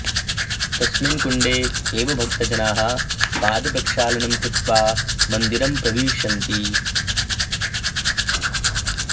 तस्मिन् कुण्डे एव भक्तजनाः पादप्रक्षालनं कृत्वा मन्दिरं प्रविशन्ति